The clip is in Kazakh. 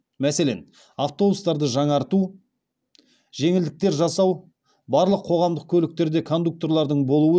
мәселен автобустарды жаңарту жеңілдіктер жасау барлық қоғамдық көліктерде кондукторлардың болуы